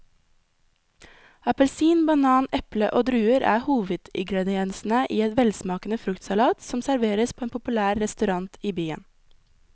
Appelsin, banan, eple og druer er hovedingredienser i en velsmakende fruktsalat som serveres på en populær restaurant i byen.